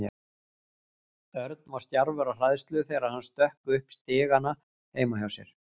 Örn var stjarfur af hræðslu þegar hann stökk upp stigana heima hjá sér.